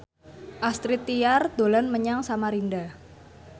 Astrid Tiar dolan menyang Samarinda